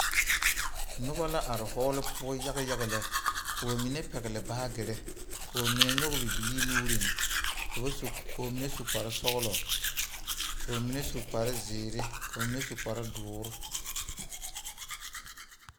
Noba la are die poɔ yaga yaga lɛ, ka ba mine pɛgeli baagere ka ba mine nyɔge bibilii. nuuri ka ba mine su kpare sɔglɔ ka ba mine su kparre zeɛre ka ba mine su kpare doɔre.